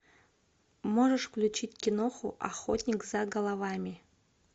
можешь включить киноху охотник за головами